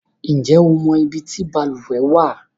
Ǹjẹ́ o mọ ibi tí balùwẹ̀ wà?